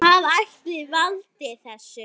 Hvað ætli valdi þessu?